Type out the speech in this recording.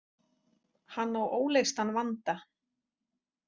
Hann á óleystan vanda.